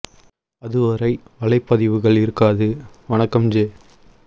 அதுவரை வலைப்பதிவுகள் இருக்காது வணக்கம் ஜெ